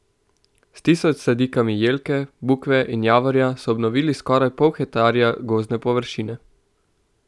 S tisoč sadikami jelke, bukve in javorja so obnovili skoraj pol hektarja gozdne površine.